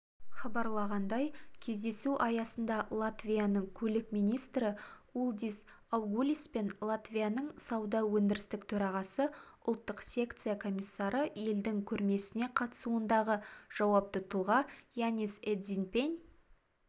хабарлағандай кездесу аясында латвияның көлік министрі улдис аугулиспен латвияның сауда-өндірістік төрағасы ұлттық секция комиссары елдің көрмесіне қатысуындағы жауапты тұлға янис эдзиньпен